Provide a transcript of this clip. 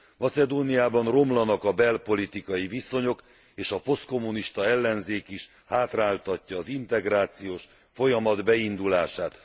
Macedóniában romlanak a belpolitikai viszonyok, és a posztkommunista ellenzék is hátráltatja az integrációs folyamat beindulását.